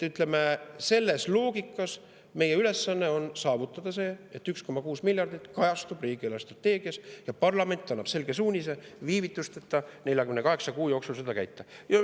Selles loogikas on meie ülesanne saavutada see, et 1,6 miljardit kajastub riigi eelarvestrateegias ja parlament annab selge suunise viivitusteta, 48 kuu jooksul seda täita.